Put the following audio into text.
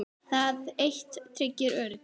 Það eitt tryggir öryggi.